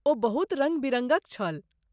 ओ बहुत रङ्ग बिरङ्गक छल।